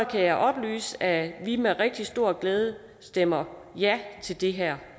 kan jeg oplyse at vi med rigtig stor glæde stemmer ja til det her